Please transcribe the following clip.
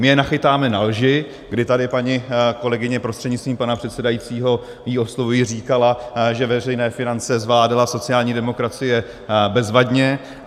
My je nachytáme na lži, kdy tady paní kolegyně, prostřednictvím pana předsedajícího ji oslovuji, říkala, že veřejné finance zvládala sociální demokracie bezvadně.